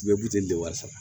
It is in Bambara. Bɛɛ b'i den de wasa